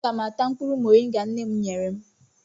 Aga m ata mkpụrụ mọrịnga nne m nyere m.